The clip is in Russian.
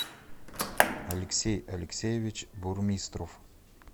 алексей алексеевич бурмистров